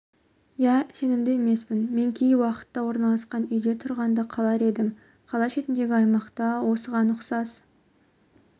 иә сенімді емеспін мен кей уақытта орналасқан үйде тұрғанды қалар едім қала шетіндегі аймақта осыған ұқсас